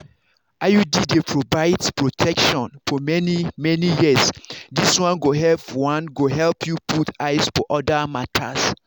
iud dey provide protection for many-many years this one go help one go help you put eyes for other matters.